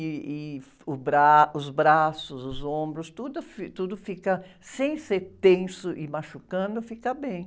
Ih, ih, e o bra, os braços, os ombros, tudo fi, tudo fica, sem ser tenso e machucando, fica bem.